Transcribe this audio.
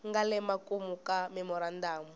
nga le makumu ka memorandamu